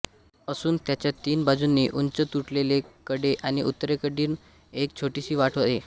असून त्याच्या तीन बाजूंनी उंच तुटलेले कडे आणि उत्तरेकडून एक छोटीशी वाट आहे